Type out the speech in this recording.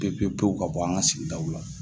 Pewu pewu ka bɔ an ka sigidaw la